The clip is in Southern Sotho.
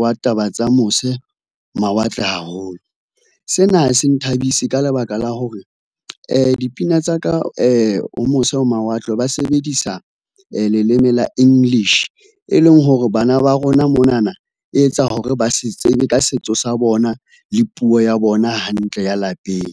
wa taba tsa mose mawatle haholo. Sena ha se nthabise ka lebaka la hore dipina tsa ka ho mose ho mawatle ba sebedisa leleme la English, e leng hore bana ba rona monana, e etsa hore ba se tsebe ka setso sa bona le puo ya bona hantle ya lapeng.